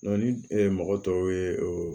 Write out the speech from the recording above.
ni mɔgɔ tɔw ye o